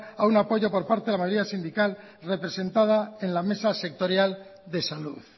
a un apoyo por parte de la mayoría sindical representada por la mayoría sindical representada en la mesa sectorial de salud